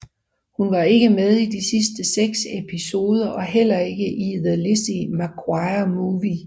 Hun var ikke med i de sidste seks episoder og heller ikke i The Lizzie McGuire Movie